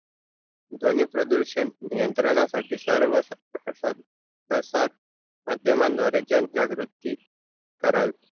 ध्वनी प्रदूषण नियंत्रणासाठी सर्व्हा स स संस्थाथान मध्मान द्वारे जनजागृती करावी